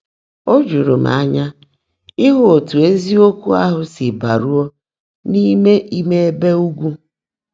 Ó júúrú m ányá ị́hụ́ ótú ézíokwú áhụ́ sí bàrúó n’Ímé Íme Ébè Ụ́gwụ́.